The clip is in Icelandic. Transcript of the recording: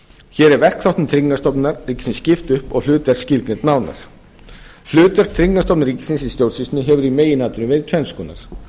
hér er verkþáttum tryggingastofnunar ríkisins skipt upp og hlutverk skilgreind nánar hlutverk tryggingastofnunar ríkisins í stjórnsýslunni hefur í meginatriðum verið tvenns konar